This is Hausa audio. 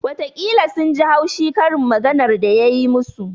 Watakila sun ji haushi karin maganar da ya yi musu